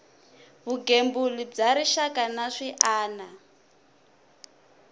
vugembuli bya rixaka na swiana